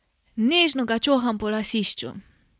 Nežno ga čoham po lasišču.